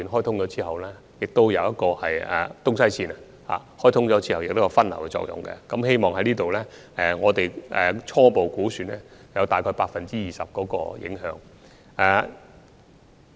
第二，在沙中線的東西線開通後亦可有分流的作用，根據我們所作的初步估算，大約會有 20% 的影響。